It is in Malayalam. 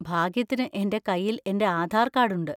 ഭാഗ്യത്തിന് എന്‍റെ കൈയിൽ എന്‍റെ ആധാർ കാർഡ് ഉണ്ട്.